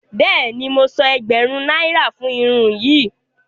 Bẹẹni, mo sán ègbérún náírà fún irun yìí.